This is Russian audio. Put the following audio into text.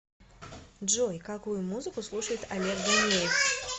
джой какую музыку слушает олег ганеев